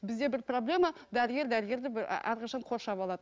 бізде бір проблема дәрігер дәрігерді әрқашан қоршап алады